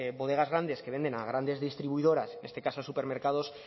bodegas grandes que venden a grandes distribuidoras en este caso a supermercados